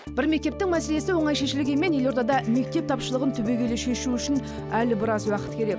бір мектептің мәселесі оңай шешілгенмен елордада мектеп тапшылығын түбегейлі шешу үшін әлі біраз уақыт керек